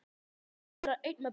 Ég þurfti að vera einn með pabba.